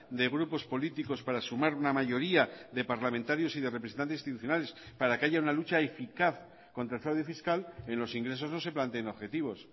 de grupos políticos para sumar una mayoría de parlamentarios y de representantes institucionales para que haya una lucha eficaz contra el fraude fiscal en los ingresos no se planteen objetivos